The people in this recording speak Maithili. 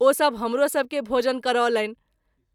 ओ सभ हमरो सभ के भोजन करौलनि।